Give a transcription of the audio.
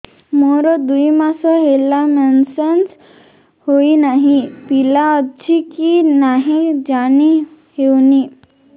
ମୋର ଦୁଇ ମାସ ହେଲା ମେନ୍ସେସ ହୋଇ ନାହିଁ ପିଲା ଅଛି କି ନାହିଁ ଜାଣି ହେଉନି